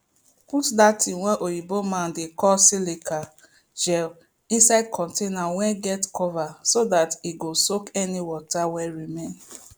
put dat thing wey oyibo man dey call silica gel inside contaiber wey dem cover so dat e go soak any water wey remain